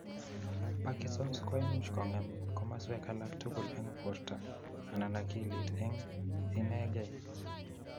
Parkinsons koimuch kong'em komoswek alak tugul eng porta ama akilit eng' inekei